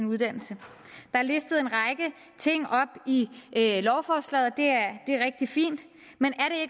uddannelse der er listet en række ting op i lovforslaget det er rigtig fint men